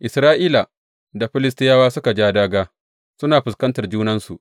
Isra’ila da Filistiyawa suka ja dāgā suna fuskantar junansu.